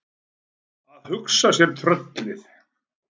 Að hugsa sér tröllið!